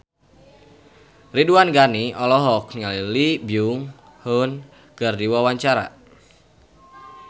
Ridwan Ghani olohok ningali Lee Byung Hun keur diwawancara